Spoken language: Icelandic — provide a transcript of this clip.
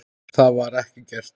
Það var ekki gert.